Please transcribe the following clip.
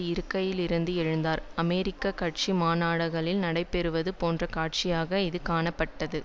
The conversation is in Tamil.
இருக்கையிலிருந்து எழுந்தார் அமெரிக்க கட்சி மாநாடுகளில் நடைபெறுவது போன்ற காட்சியாக இது காணப்பட்டது